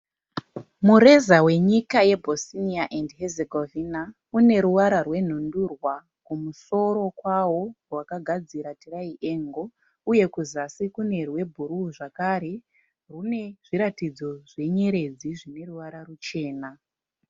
Mureza wenyika yeBosnia and Hezegovina une ruvara rwenhundurwa kumusoro kwawo rwakagadzira tiraiengo uye kuzasi kune rwebhuruu zvakare rwune zviratidzo zvenyeredzi zvine ruvara ruchena.